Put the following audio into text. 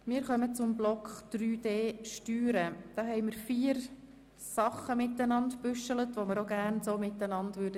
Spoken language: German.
Ich gebe zuerst der Motionärin das Wort und danach den Sprecherinnen und Sprechern für die Planungserklärungen.